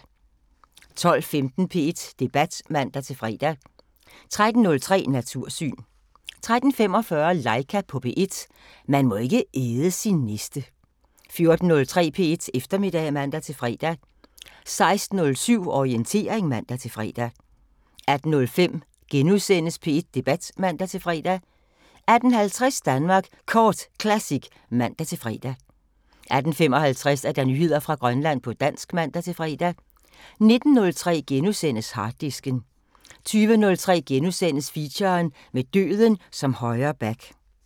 12:15: P1 Debat (man-fre) 13:03: Natursyn 13:45: Laika på P1 – man må ikke æde sin næste 14:03: P1 Eftermiddag (man-fre) 16:07: Orientering (man-fre) 18:05: P1 Debat *(man-fre) 18:50: Danmark Kort Classic (man-fre) 18:55: Nyheder fra Grønland på dansk (man-fre) 19:03: Harddisken * 20:03: Feature: Med døden som højre back *